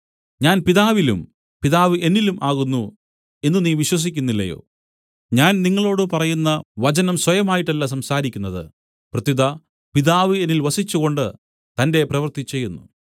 ഞാൻ പിതാവിലും പിതാവ് എന്നിലും ആകുന്നു എന്നു നീ വിശ്വസിക്കുന്നില്ലയോ ഞാൻ നിങ്ങളോടു പറയുന്ന വചനം സ്വയമായിട്ടല്ല സംസാരിക്കുന്നത് പ്രത്യുത പിതാവ് എന്നിൽ വസിച്ചുകൊണ്ട് തന്റെ പ്രവൃത്തി ചെയ്യുന്നു